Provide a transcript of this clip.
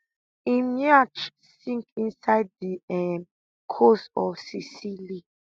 im yacht sink inside di um coast of sicily